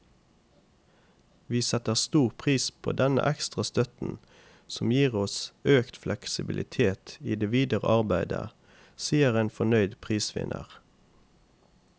Vi setter stor pris på denne ekstra støtten, som gir oss økt fleksibilitet i det videre arbeidet, sier en fornøyd prisvinner.